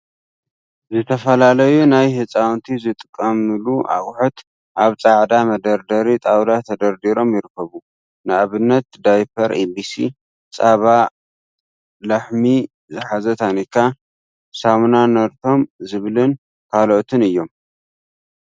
ዝተፈላለዩ ናይ ህጻውንቲ ዝጥቀምሉ ኣቑሑት ኣብ ጻዕዳ መደርደሪ ጣውላ ትደርዲሮም ይርከቡ። ንኣብነት ዳይፐር ኤቢሲ ፣ ጸባ ላኣሕሚ ዝሓዘ ታኒካ፥ ሳሙና ነርቶም ዝብልን ካልኦትን እዮም።